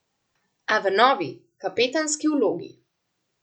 A v novi, kapetanski vlogi.